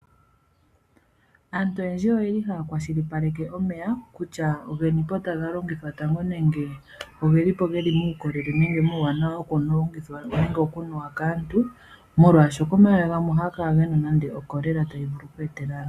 Aantu oyendji oye li haya kwashilipaleke omeya kutya ogeni po taga longithwa tango nenge ogeni po ge li muukolele nenge muuwanawa wokulongithwa nenge okunuwa kaantu, molwashoka omeya gamwe ohaga vulu okukala ge na oCholera tayi vulu oku etela aantu.